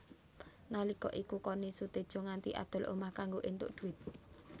Nalika iku Connie Sutedja nganti adol omah kanggo éntuk dhuwit